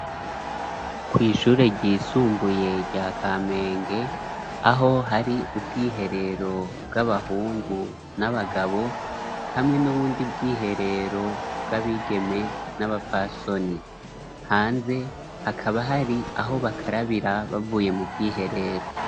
Kwishure ryisumbuye rya Kamenge aho hari ubwiherero bw'abahungu n'abagabo hamwe n'ubundi bwiherero bw'abigeme n'abafasoni, hanze hakaba hari aho bakarabira bavuye mu bwiherero.